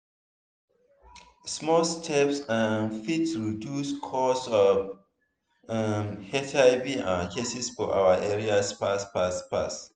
small steps um fit reduce causes of um hiv um cases for our area fast fast fast.